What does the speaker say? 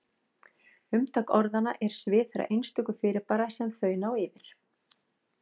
Umtak orðanna er svið þeirra einstöku fyrirbæra sem þau ná yfir.